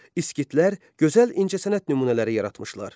İskitlər gözəl incəsənət nümunələri yaratmışlar.